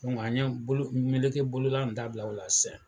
an ye bolo meleke bolola in dabila o la sisɛn